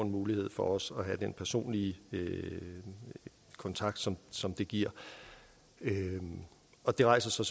mulighed for også at have den personlige kontakt som som det giver og det rejser så